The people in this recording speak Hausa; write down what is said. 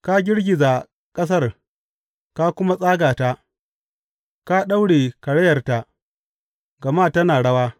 Ka girgiza ƙasar ka kuma tsaga ta; ka daure karayarta, gama tana rawa.